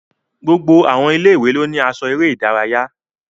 Gbogbo àwọn ilé-ìwé ló ní aṣọ eré ìdárayá